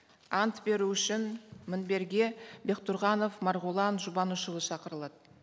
ант беру үшін мінберге бектұрғанов марғұлан жұбанышұлы шақырылады